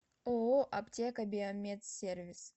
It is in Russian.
ооо аптека биомедсервис